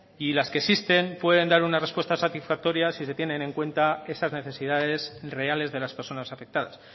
y las que existen pueden dar una respuesta satisfactoria si se tienen en cuenta esas necesidades reales de las personas afectadas